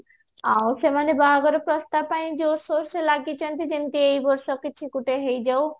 ଆଉ ସେମାନେ ବାହାଘର ପ୍ରସ୍ତାବ ପାଇଁ ଜୋରସୋର ସେ ଲାଗିଛନ୍ତି ଯେମିତି ଏଇବର୍ଷ କିଛି ଗୋଟେ ହେଇଯାଉ